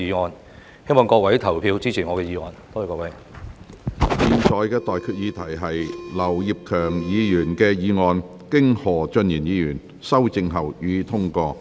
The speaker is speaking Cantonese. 我現在向各位提出的待決議題是：劉業強議員動議的議案，經何俊賢議員修正後，予以通過。